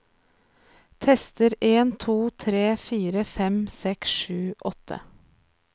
Tester en to tre fire fem seks sju åtte